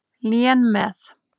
Lén með.